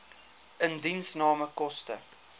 indiensname koste